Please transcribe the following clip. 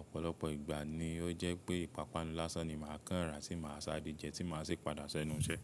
Ọ̀pọ̀lọpọ̀ ìgbà ni ó jẹ́ pé ìpápánu lásán ni màá kàn rà tí màá sááre jẹun tí màá sì padà sẹ̀nu iṣẹ́.